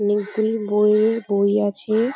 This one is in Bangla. অনেকগুলি বই-এর বই আছে।